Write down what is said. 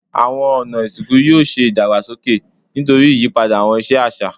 Awọn ọna isinku yoo ṣe idagbasoke nitori iyipada awọn iṣe aṣa